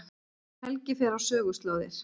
Helgi fer á söguslóðir